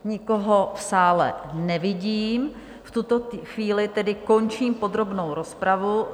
Nikoho v sále nevidím, v tuto chvíli tedy končím podrobnou rozpravu.